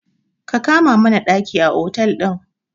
Ka kama mana ɗaki a otel ɗin.